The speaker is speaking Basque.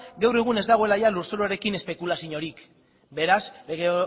gaur egun ez dagoela ia lurzoruarekin espekulazioarik beraz lege